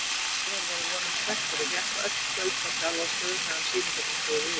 Sævar var að vonum spenntur og hékk öll kvöld á Kjarvalsstöðum meðan sýningarnar stóðu yfir.